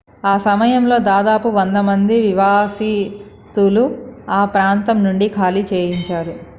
ఆ సమయంలో దాదాపు 100 మంది నివాసితులను ఆ ప్రాంతం నుండి ఖాళీ చేయించారు